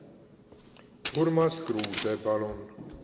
Urmas Kruuse, palun!